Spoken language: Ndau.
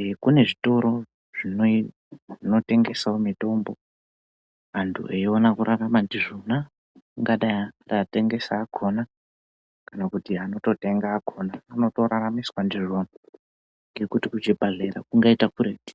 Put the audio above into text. ee kune zvitoro zvino zvinotengesawo mutombo antu eiona kurarama ndizvona ungadai ari atengesi akhona kana anototenga akhona anotoraramiswa ndizvona ngekuti kuzvibhedhleya kungaita kuretu.